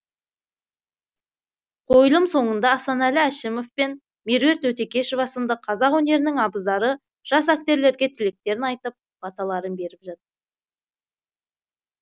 қойылым соңында асанәлі әшімеов пен меруерт өтекешова сынды қазақ өнерінің абыздары жас актерлерге тілектерін айтып баталарын беріп жатты